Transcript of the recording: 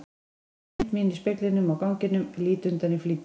Sé mynd mína í speglinum á ganginum, lít undan í flýti.